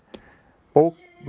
bók með